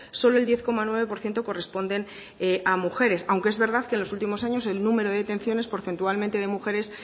solo el diez coma nueve por ciento corresponden a mujeres aunque es verdad que los últimos años el número de detenciones porcentualmente de mujeres